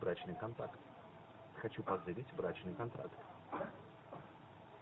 брачный контракт хочу позырить брачный контракт